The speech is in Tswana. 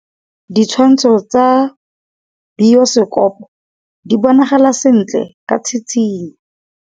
Ditshwantshô tsa biosekopo di bonagala sentle ka tshitshinyô.